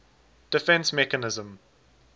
defence mechanism